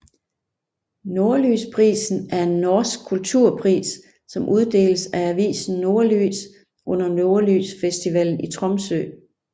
Nordlysprisen er en norsk kulturpris som uddeles af avisen Nordlys under Nordlysfestivalen i Tromsø